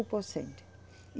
Por cento